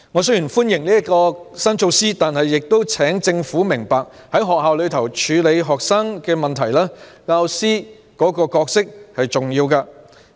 雖然我歡迎這項新措施，但我亦請政府明白，在學校處理學生問題方面，教師扮演很重要的角色。